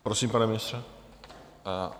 Prosím, pane ministře?